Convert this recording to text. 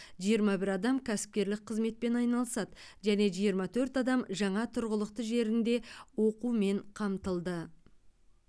жиырма бір адам кәсіпкерлік қызметпен айналысады және жиырма төрт адам жаңа тұрғылықты жерінде оқумен қамтылды